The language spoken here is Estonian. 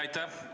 Aitäh!